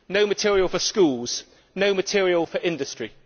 no material for schools, no material for industry.